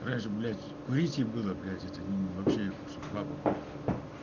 курить было блять это вообще чтоб баба курила